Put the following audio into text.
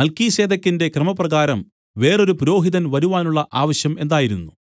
മൽക്കീസേദെക്കിന്റെ ക്രമപ്രകാരം വേറൊരു പുരോഹിതൻ വരുവാനുള്ള ആവശ്യം എന്തായിരുന്നു